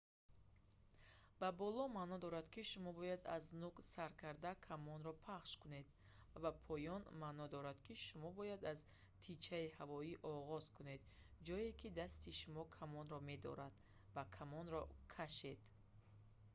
ба боло» маъно дорад ки шумо бояд аз нӯг сар карда камонро пахш кунед ва «ба поён» маъно дорад ки шумо бояд аз тичаи ҳавоӣ оғоз кунед ҷое ки дасти шумо камонро медорад ва камонро кашед